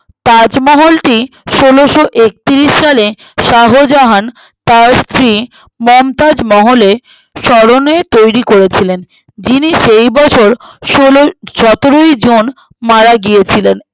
তাজমহলটি ষোলোএকত্রিশ সালে শাহজাহান তার স্ত্রী মমতাজ মহলে স্মরণে তৈরী করেছিলেন যিনি সেই বছর ষোলোই সতেরোই জুন মারা গিয়েছিলেন